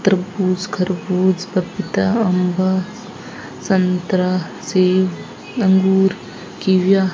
तरबूज खरबूज पपीता अंबा संतरा सेव अंगूर कीविया --